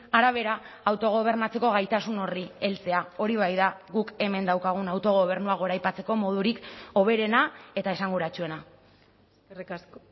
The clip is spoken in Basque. arabera autogobernatzeko gaitasun horri heltzea hori bai da guk hemen daukagun autogobernua goraipatzeko modurik hoberena eta esanguratsuena eskerrik asko